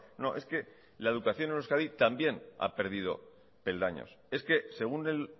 no es que la educación en euskadi también ha perdido peldaños es que según el